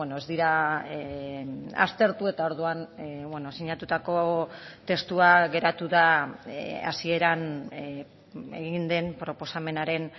ez dira aztertu eta orduan sinatutako testua geratu da hasieran egin den proposamenaren